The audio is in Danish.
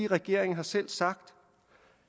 regeringen har selv sagt